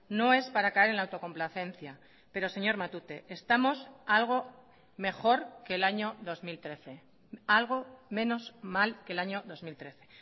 no es para caer en la autocomplacencia pero señor matute estamos algo mejor que el año dos mil trece algo menos mal que el año dos mil trece